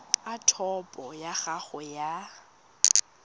a topo ya gago ya